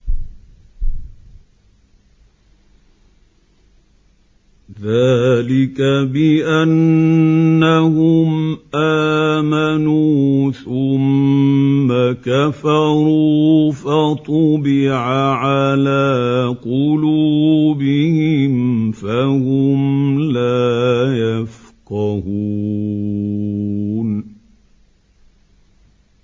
ذَٰلِكَ بِأَنَّهُمْ آمَنُوا ثُمَّ كَفَرُوا فَطُبِعَ عَلَىٰ قُلُوبِهِمْ فَهُمْ لَا يَفْقَهُونَ